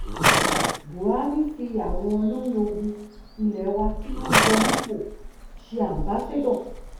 buhari fi àwọn olórí ológun ilé wa tó yọ nípò ṣe aḿbaṣado